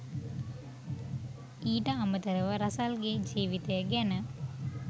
ඊට අමතරව රසල්ගේ ජීවිතය ගැන